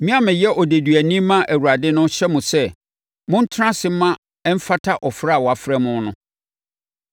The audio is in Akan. Me a meyɛ odeduani ma Awurade no hyɛ mo sɛ montena ase mma ɛmfata ɔfrɛ a wɔafrɛ mo no.